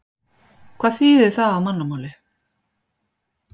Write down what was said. Hvað þýðir það á mannamáli?